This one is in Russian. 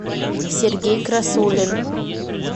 сергей красулин